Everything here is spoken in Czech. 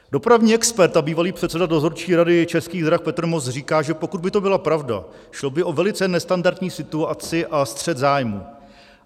Dopravní expert a bývalý předseda dozorčí rady Českých drah Petr Moos říká, že pokud by to byla pravda, šlo by o velice nestandardní situaci a střet zájmů.